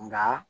Nga